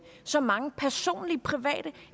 så mange personlige private